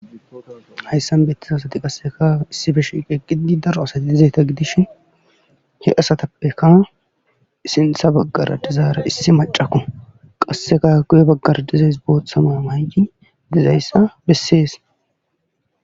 hayssan beetiza asati qassekka issippe shiiqi eqqidi daro asay dishin he asatappe sinththa bagara dizara issi maccakko. Qassekka guye baggara dizayssi booththa mayo mayidi dizayssa besse.